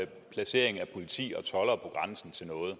placering af politi og toldere på grænsen til noget og